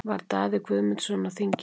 Var Daði Guðmundsson á þinginu?